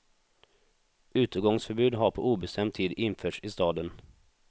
Utegångsförbud har på obestämd tid införts i staden.